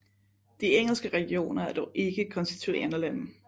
De engelske regioner er dog ikke konstituerende lande